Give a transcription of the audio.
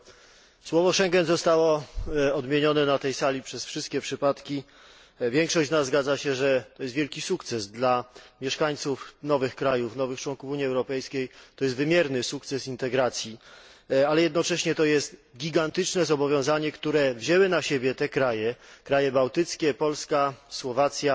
Pani przewodnicząca! Słowo Schengen zostało odmienione na tej sali przez wszystkie przypadki. Większość z nas zgadza się, że jest to wielki sukces, dla mieszkańców nowych krajów, nowych członków Unii Europejskiej to jest wymierny sukces integracji. Ale jednocześnie jest to gigantyczne zobowiązanie, które wzięły na siebie te kraje, kraje bałtyckie, Polska, Słowacja,